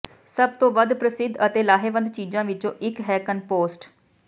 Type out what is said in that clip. ਸਭ ਤੋਂ ਵੱਧ ਪ੍ਰਸਿੱਧ ਅਤੇ ਲਾਹੇਵੰਦ ਚੀਜਾਂ ਵਿੱਚੋਂ ਇੱਕ ਹੈ ਕੰਪੋਸਟ